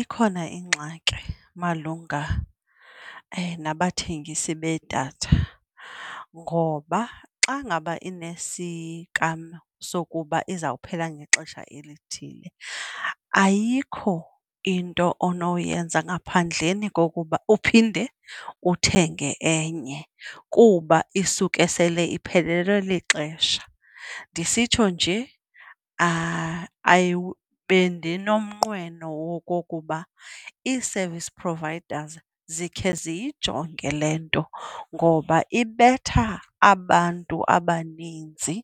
Ikhona ingxaki malunga nabathengisi bedatha ngoba xa ngaba inesikalo sokuba izawuphela ngexesha elithile, ayikho into onoyenza ngaphandleni kokuba uphinde uthenge enye kuba isuke sele iphelelwe lixesha. Ndisitsho nje bendinomnqweno wokokuba ii-service providers zikhe ziyijonge le nto ngoba ibetha abantu abaninzi